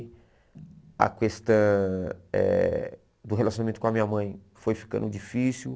A questão eh do relacionamento com a minha mãe foi ficando difícil.